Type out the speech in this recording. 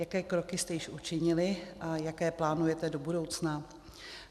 Jaké kroky jste již učinili a jaké plánujete do budoucna?